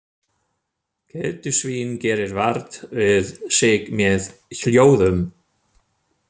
Keldusvín gerir vart við sig með hljóðum.